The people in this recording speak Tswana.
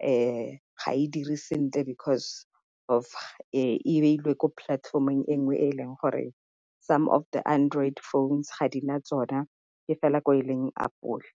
ga e dire sentle because of e beilwe ko platform-ong e nngwe e e leng gore some of the android phones ga di na tsona e fela ko e leng apole.